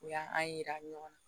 U y'an yira ɲɔgɔn na